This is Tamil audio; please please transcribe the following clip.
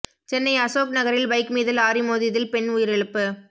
சென்னை அசோக் நகரில் பைக் மீது லாரி மோதியதில் பெண் உயிரிழப்பு